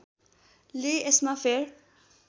ले यसमा फेर